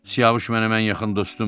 Siyavuş mənim ən yaxın dostumdur.